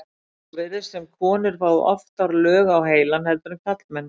svo virðist sem konur fái oftar lög á heilann heldur en karlmenn